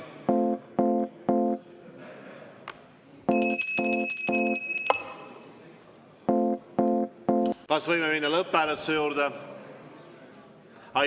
Kas võime minna lõpphääletuse juurde?